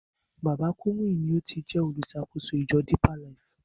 Baba Kúmúyì ni o ti jẹ́ oluṣàkóso ìjọ Depeer Life.